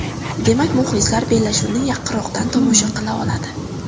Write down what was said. Demak, muxlislar bellashuvni yaqinroqdan tomosha qila oladi.